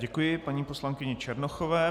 Děkuji paní poslankyni Černochové.